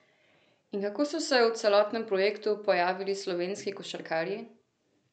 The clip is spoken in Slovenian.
In kako so se v celotnem projektu pojavili slovenski košarkarji?